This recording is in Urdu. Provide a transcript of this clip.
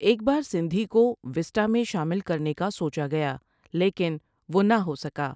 ایک بار سندھی کو وسٹا میں شامل کرنے کا سوچا گیا لیکں وہ نہ ہو سکا ۔